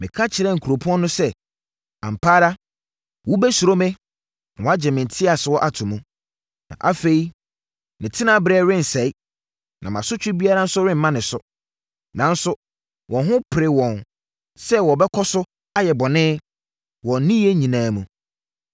Meka kyerɛɛ kuropɔn no sɛ, ‘ampa ara wobɛsuro me na woagye nteɛsoɔ ato mu!’ Na afei ne tenaberɛ rensɛe, na mʼasotwe biara nso remma ne so. Nanso, wɔn ho peree wɔn sɛ wɔbɛkɔso ayɛ bɔne wɔn nneyɛeɛ nyinaa mu.